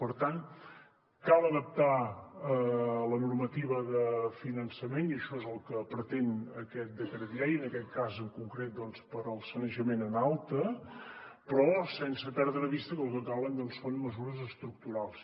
per tant cal adaptar la normativa de finançament i això és el que pretén aquest decret llei en aquest cas en concret doncs per al sanejament en alta però sense perdre de vista que el que calen doncs són mesures estructurals